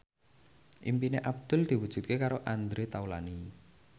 impine Abdul diwujudke karo Andre Taulany